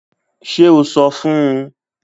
Ṣe o sọ fun u!?